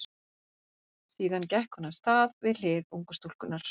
Síðan gekk hún af stað við hlið ungu stúlkunnar.